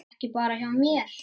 Og ekki bara hjá mér.